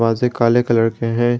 काले कलर के हैं।